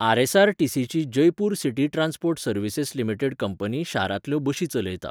आर.एस.आर.टी.सी.ची Jaipur city transport services limited company शारांतल्यो बशी चलयता.